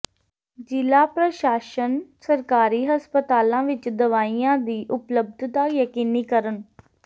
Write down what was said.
ਜ਼ਿਲਾ ਪ੍ਰਸ਼ਾਸਨ ਸਰਕਾਰੀ ਹਸਪਤਾਲਾਂ ਵਿਚ ਦਵਾਈਆਂ ਦੀ ਉਪਲਬਧਤਾ ਯਕੀਨੀ ਕਰਨ